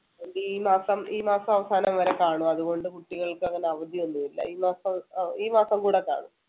ഈ മാസം~ ഈ മാസം അവസാനം വരെ കാണും അതുകൊണ്ട് കുട്ടികൾക്ക് അങ്ങനെ അവധിയൊന്നുമില്ല. ഈ മാസം അഹ് ഈ കൂടെ കാണും.